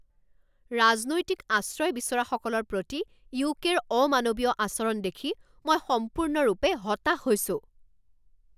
ৰাজনৈতিক আশ্ৰয় বিচৰাসকলৰ প্ৰতি ইউকে ৰ অমানৱীয় আচৰণ দেখি মই সম্পূৰ্ণৰূপে হতাশ হৈছো।